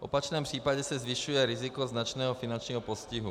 V opačném případě se zvyšuje riziko značného finančního postihu.